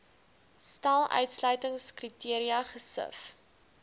stel uitsluitingskriteria gesif